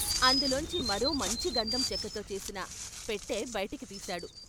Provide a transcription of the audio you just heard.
అందులోంచి మరో మంచి గంధం చెక్కతో చేసిన పెట్టె బైటికి తీశాడు.